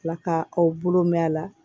Tila ka aw bolo mɛn a la